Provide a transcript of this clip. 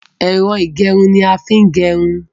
Ẹ̀rọ ìgẹrun ni a fi ń gẹrun.